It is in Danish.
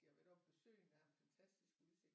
Jeg har været oppe ved søen der har en fantastisk udsigt